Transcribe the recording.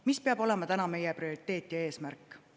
Mis peab olema meie prioriteet ja eesmärk?